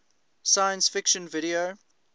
science fiction video